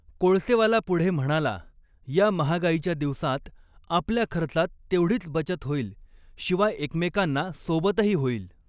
कोळसेवाला पुढे म्हणाला, या महागाईच्या दिवसांत आपल्या खर्चात तेवढीच बचत होईल, शिवाय एकमेकांना सोबतही होईल.